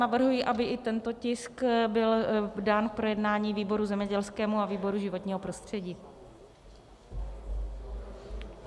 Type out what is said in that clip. Navrhuji, aby i tento tisk byl dán k projednání výboru zemědělskému a výboru životního prostředí.